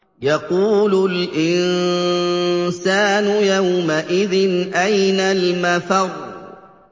يَقُولُ الْإِنسَانُ يَوْمَئِذٍ أَيْنَ الْمَفَرُّ